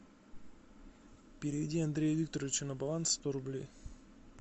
переведи андрею викторовичу на баланс сто рублей